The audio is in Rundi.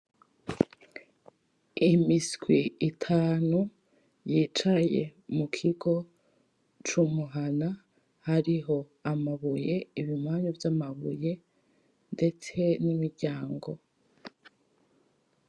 Imiswi itanu y'icaye mukigo c'umuhana hariho amabuye ibimanyu vy'amabuye ndetse n'imiryango.